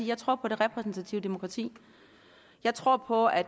jeg tror på det repræsentative demokrati jeg tror på at